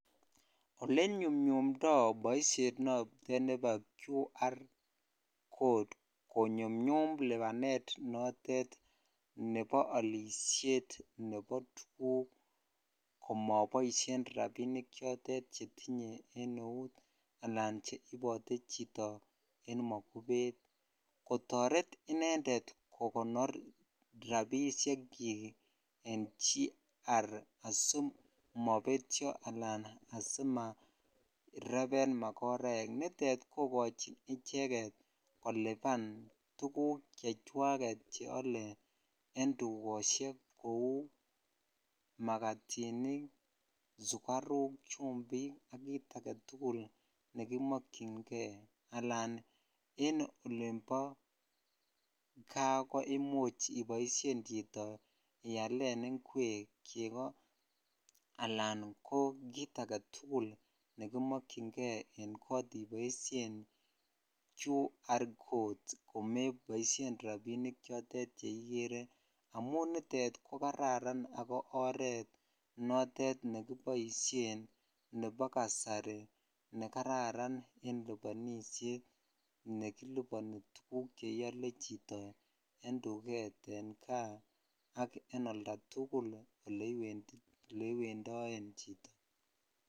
Elenyumnyumdo boishet notet nebo QR codes konyumyum libanet notet nebo olishet nebo tuguk komoboishen rabinik chotet chetinye en eut alan rabishek chotet chetinye en eut kotoret inendet kokonor rabishekyik en QR asimobetio alan asimareben makoraek nitet kokojin icheket koliban tuguk cheole en tugoshek kou makatinik, sukaruk, chumbik ak kit aketugul nekimkchingee alan en olimbo kaa koimuch iboishen chito ialen inkwek, chego alan ko kit aketugul nekimokyingee en kot iboisien QR codes komeboishen rabinik chotet cheikere amun nitet ko kararan ako oret notet nekiboishen nebo kasari nekararan en libonishet nekiliboni tuguk cheiole chito en tuget ak en oldatugul eleiwendoen chito.